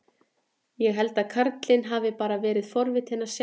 Ég held að karlinn hafi bara verið forvitinn að sjá mig.